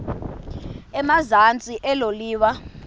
emazantsi elo liwa